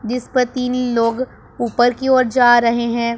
जिस पर तीन लोग ऊपर की ओर जा रहे हैं।